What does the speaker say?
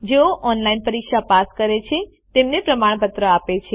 જેઓ ઓનલાઇન પરીક્ષા પાસ કરે છે તેમને પ્રમાણપત્ર આપે છે